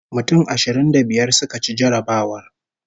Mutum ashirin da biyar suka ci jarrabawar